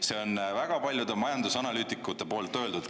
See on väga paljude majandusanalüütikute poolt öeldud.